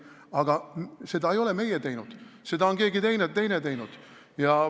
Aga seda ei ole meie teinud, seda on keegi teine teinud.